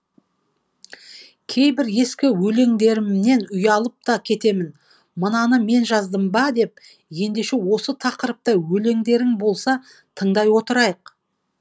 кейбір ескі өлеңдерімнен ұялып та кетемін мынаны мен жаздым ба деп ендеше осы тақырыпта өлеңдерің болса тыңдай отырайық